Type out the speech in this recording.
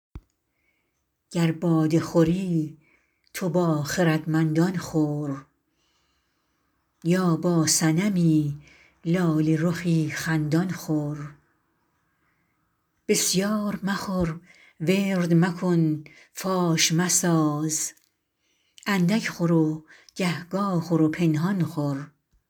گر باده خوری تو با خردمندان خور یا با صنمی لاله رخی خندان خور بسیار مخور ورد مکن فاش مساز اندک خور و گهگاه خور و پنهان خور